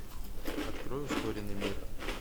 открой ускоренный мир